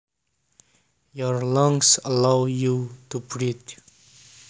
Your lungs allow you to breathe